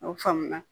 O faamu na